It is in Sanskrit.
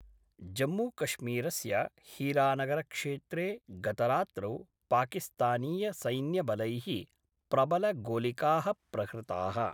जम्मूकश्मीरस्य हीरानगरक्षेत्रे गतरात्रौ पाकिस्तानीय सैन्यबलै: प्रबल गोलिका: प्रहृताः।